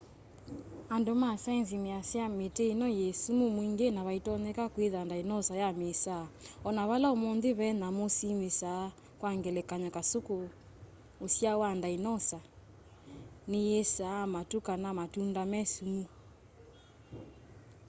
andu ma saienzi measya miti ino yi sumu mwingi na vaitonyeka kwitha ndainosa ya miisaa ona vala umunthi ve nyamu simisaa kwa ngelekany'o kasuku usyao wa ndainosa niyiisaa matu kana matunda me sumu